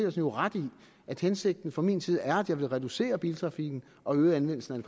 jo ret i at hensigten fra min side er at jeg vil reducere biltrafikken og øge anvendelsen af